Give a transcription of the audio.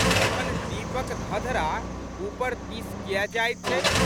तखन दीप'क धधरा ऊपर दिस कियै जाइत छै?